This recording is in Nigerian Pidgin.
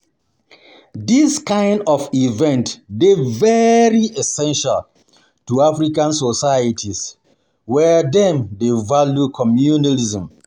This kind of event dey very essential to African societies where dem dey value communalism.